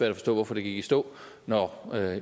at forstå hvorfor det gik i stå når